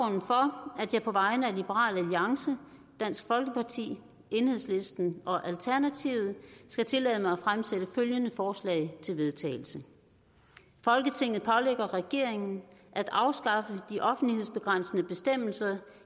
det er på vegne af liberal alliance dansk folkeparti enhedslisten og alternativet skal tillade mig at fremsætte følgende forslag til vedtagelse folketinget pålægger regeringen at afskaffe de offentlighedsbegrænsende bestemmelser